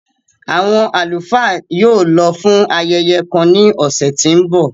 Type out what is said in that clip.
Awọn alufaa yóò lọ fun ayẹyẹ kan ni ọsẹ ti n bọ.